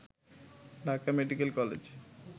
Dhaka medical college